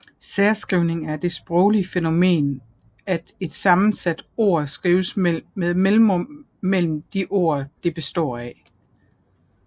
Særskrivning er det sproglige fænomen at et sammensat ord skrives med mellemrum mellem de ord det består af